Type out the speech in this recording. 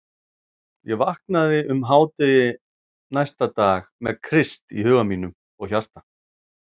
Ég vaknaði um hádegi næsta dag með Krist í huga mínum og hjarta.